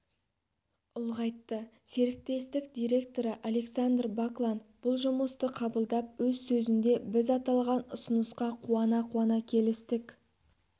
ұлғайтты серіктестік директоры александр баклан бұл жұмысты қабылдап өз сөзінде біз аталған ұсынысқа қуана-қуана келістік